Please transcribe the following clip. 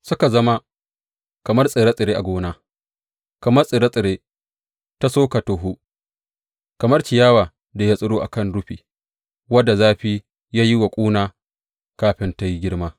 Suka zama kamar tsire tsire a gona, kamar tsire tsiren ta suka tohu, kamar ciyawar da ya tsiro a kan rufi, wadda zafi ya yi wa ƙuna kafin tă yi girma.